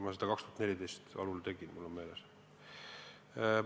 See oli 2014. aasta algul, mul on meeles.